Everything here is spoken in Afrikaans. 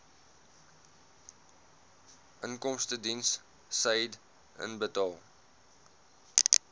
inkomstediens said inbetaal